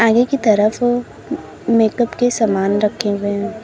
एक तरफ मेकअप के सामान रखे हुए हैं।